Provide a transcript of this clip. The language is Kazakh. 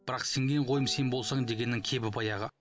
бірақ сенген қойым сен болсаң дегеннің кебі баяғы